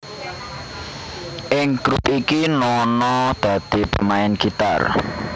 Ing grup iki Nono dadi pemain gitar